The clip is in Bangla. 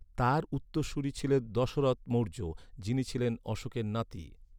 তাঁর উত্তরসূরী ছিলেন দশরথ মৌর্য, যিনি ছিলেন অশোকের নাতি।